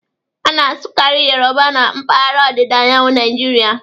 A na-asụkarị Yoruba na mpaghara ọdịda anyanwụ Naịjirịa.